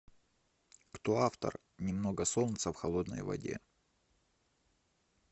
кто автор немного солнца в холодной воде